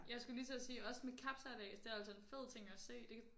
Jeg skulle lige til at sige også med kapsejlads det er altså en fed ting at se det